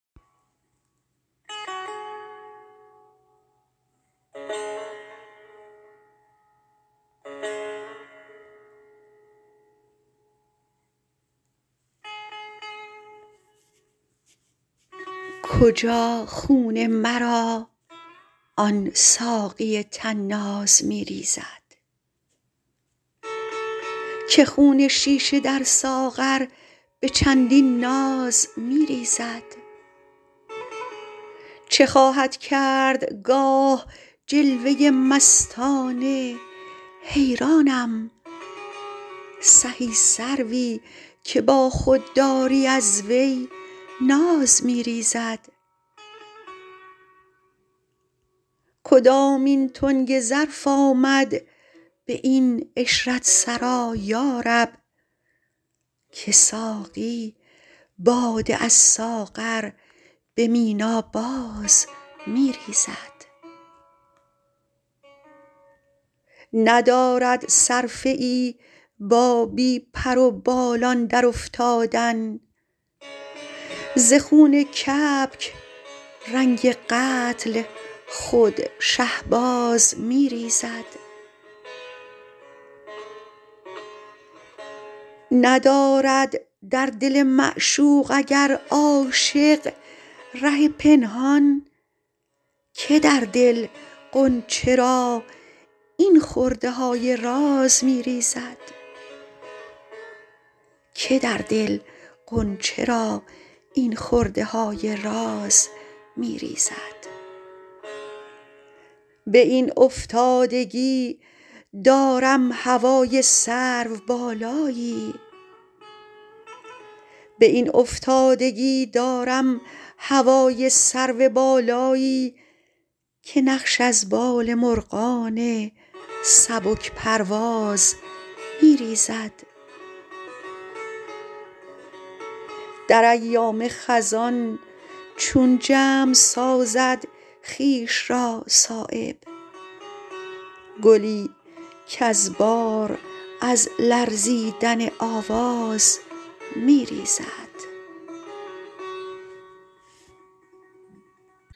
کجا خون مرا آن ساقی طناز می ریزد که خون شیشه در ساغر به چندین ناز می ریزد چه خواهد کرد گاه جلوه مستانه حیرانم سهی سروی که با خودداری از وی ناز می ریزد کدامین تنگ ظرف آمد به این عشرت سرا یارب که ساقی باده از ساغر به مینا باز می ریزد ندارد صرفه ای با بی پروبالان در افتادن زخون کبک رنگ قتل خود شهباز می ریزد ندارد در دل معشوق اگر عاشق ره پنهان که در دل غنچه را این خرده های راز می ریزد به این افتادگی دارم هوای سرو بالایی که نقش از بال مرغان سبک پرواز می ریزد در ایام خزان چون جمع سازد خویش را صایب گلی کز بار از لرزیدن آواز می ریزد